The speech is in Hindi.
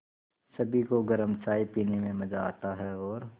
सभी को गरम चाय पीने में मज़ा आता है और